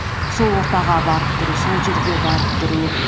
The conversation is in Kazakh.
сол ортаға барып тұру сол жерге барып тұру